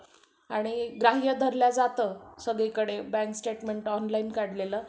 आणि ग्राह्य धरलं जातं सगळीकडे bank statement online काढलेलं